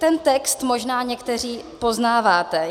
Ten text možná někteří poznáváte.